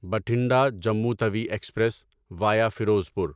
Bathinda Jammu Tawi express via Ferozepur